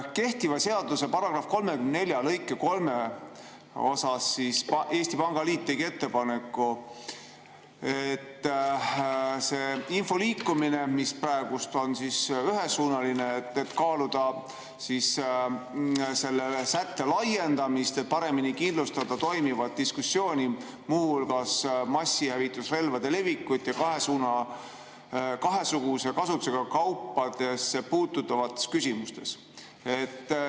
Kehtiva seaduse § 34 lõike 3 kohta tegi Eesti Pangaliit ettepaneku, et info liikumine on praegu ühesuunaline, aga võiks kaaluda selle ühe sätte laiendamist, et paremini kindlustada toimivat diskussiooni, muu hulgas massihävitusrelvade levikusse ja kahesuguse kasutusega kaupadesse puutuvates küsimustes.